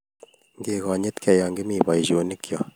Ngegonyitge yo Kimi boisionikcho